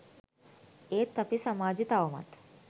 ඒත් අපේ සමාජෙ තවමත්